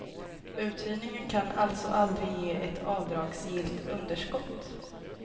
Uthyrningen kan alltså aldrig ge ett avdragsgillt underskott.